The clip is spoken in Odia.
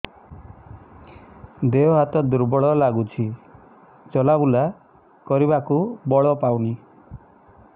ଦେହ ହାତ ଦୁର୍ବଳ ଲାଗୁଛି ଚଲାବୁଲା କରିବାକୁ ବଳ ପାଉନି